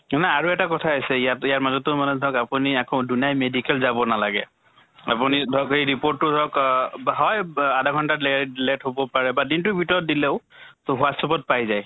না আৰু এটা কথা আছে ইয়াত, ইয়াৰ মাজতো মানে ধৰক আপোনি আকৌ দুনাই medical যাব নালাগে। আপোনি ধৰক এই report টো ধৰক অহ বা হয় আধা ঘন্টা লে late হʼব পাৰে বা দিন টোৰ ভিতৰত দিলেও so WhatsApp ত পাই যায়।